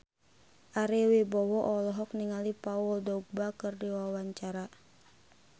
Ari Wibowo olohok ningali Paul Dogba keur diwawancara